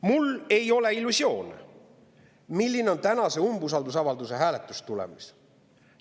Mul ei ole illusioone selle kohta, milline on tänase umbusaldusavalduse hääletuse tulemus.